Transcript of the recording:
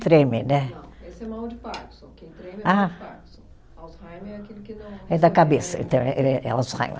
Treme, né. Não, esse é mal de Parkinson, quem treme é mal de Parkinson. Alzheimer é aquele que não. É da cabeça, então, é é Alzheimer.